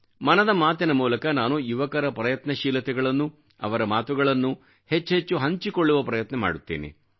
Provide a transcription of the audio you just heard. ಮನದ ಮಾತಿನ ಮೂಲಕ ನಾನು ಯುವಕರ ಪ್ರಯತ್ನಶೀಲತೆಗಳನ್ನು ಅವರ ಮಾತುಗಳನ್ನೂ ಹೆಚ್ಹೆಚ್ಚು ಹಂಚಿಕೊಳ್ಳುವ ಪ್ರಯತ್ನ ಮಾಡುತ್ತೇನೆ